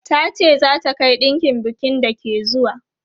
Ta ce za ta kai ɗinkin bukin da ke zuwa.